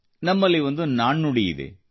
ನಮ್ಮಲ್ಲಿ ಒಂದು ನಾಣ್ಣುಡಿಯಿದೆ